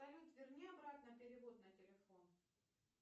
салют верни обратно перевод на телефон